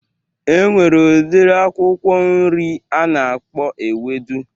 E nwere udiri akwụkwọ nri a na-akpọ ewedu